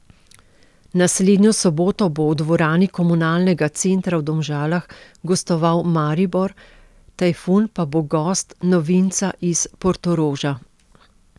Naslednjo soboto bo v dvorani Komunalnega centra v Domžalah gostoval Maribor, Tajfun pa bo gost novinca iz Portoroža.